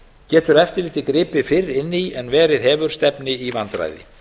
getur eftirlitið gripið fyrr inn í en verið hefur stefni í vandræði